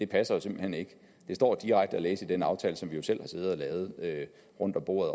passer simpelt hen ikke det står direkte at læse i den aftale som vi jo selv har siddet og lavet rundt om bordet